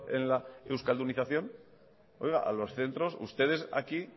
en la euskaldunización oiga a los centros ustedes aquí